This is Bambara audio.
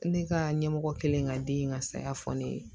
Ne ka ɲɛmɔgɔ kɛlen ka den in ka saya fɔ ne ye